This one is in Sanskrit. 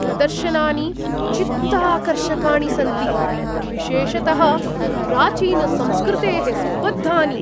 प्रदर्शनानि चित्ताकर्षकाणि सन्ति, विशेषतः प्राचीनसंस्कृतेः सम्बद्धानि।